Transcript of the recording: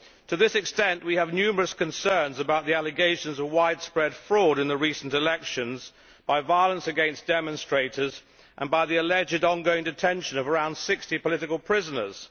To this extent, we have numerous concerns about the allegations of widespread fraud in the recent elections, by violence against demonstrators and by the alleged ongoing detention of around 60 political prisoners.